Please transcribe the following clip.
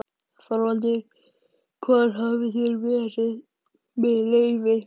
ÞORVALDUR: Hvar hafið þér verið- með leyfi?